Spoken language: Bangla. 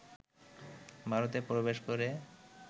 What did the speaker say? ভারতে প্রবেশ করে